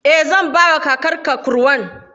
Eh, zan bawa kakarka kurwan.